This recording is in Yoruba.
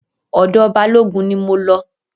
Ọ̀dọ̀ Balógun ni mo lọ.